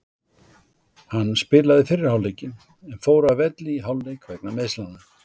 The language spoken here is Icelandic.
Hann spilaði fyrri hálfleikinn en fór að velli í hálfleik vegna meiðslanna.